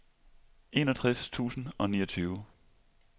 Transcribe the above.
enogtres tusind og niogtyve